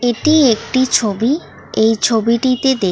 এটি একটি ছবি এই ছবিটিতে দে--